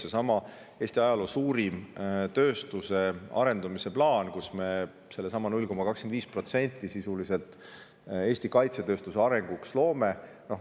Seesama Eesti ajaloo suurim tööstuse arendamise plaan, nii et me sellesama 0,25% sisuliselt Eesti kaitsetööstuse arengusse paneme.